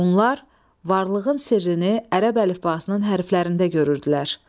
Onlar varlığın sirrini ərəb əlifbasının hərflərində görürdülər.